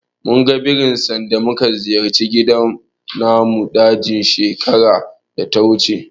Munga birin sanda muka ziyarci gidan namun daji shekarar data wuce.